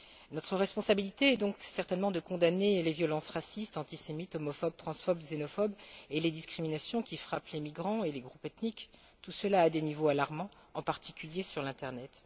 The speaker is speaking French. Notre responsabilité est donc certainement de condamner les violences racistes, antisémites, homophobes, transphobes et xénophobes, ainsi que les discriminations qui frappent les migrants et les groupes ethniques, tout cela à des niveaux alarmants, en particulier sur l'internet.